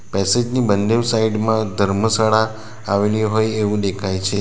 Passage ની બંનેવ side માં ધર્મશાળા આવેલી હોય એવું દેખાય છે.